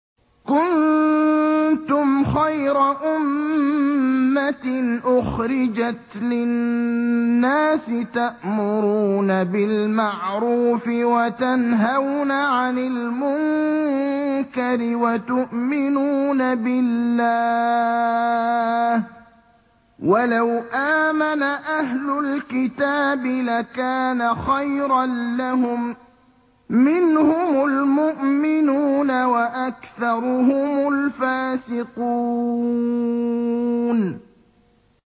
كُنتُمْ خَيْرَ أُمَّةٍ أُخْرِجَتْ لِلنَّاسِ تَأْمُرُونَ بِالْمَعْرُوفِ وَتَنْهَوْنَ عَنِ الْمُنكَرِ وَتُؤْمِنُونَ بِاللَّهِ ۗ وَلَوْ آمَنَ أَهْلُ الْكِتَابِ لَكَانَ خَيْرًا لَّهُم ۚ مِّنْهُمُ الْمُؤْمِنُونَ وَأَكْثَرُهُمُ الْفَاسِقُونَ